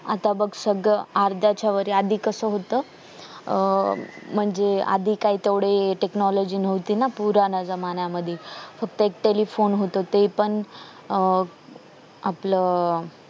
आता बग सगळं अर्ध्याच्या वर आधी कास होतंय अं म्हणजे आधी काय तेवढी technology न होती ना पुराणा जमान्या मध्ये फक्त telephone होत ते पण अं आपलं